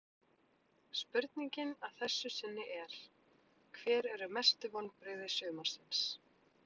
Spurningin að þessu sinni er: Hver eru mestu vonbrigði sumarsins?